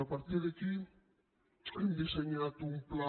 a partir d’aquí hem dissenyat un pla